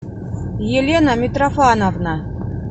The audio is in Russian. елена митрофановна